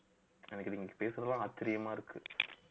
எனக்கு நீங்க பேசுறதெல்லாம் ஆச்சரியமா இருக்கு